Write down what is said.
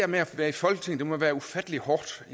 med at være i folketinget må være ufattelig hårdt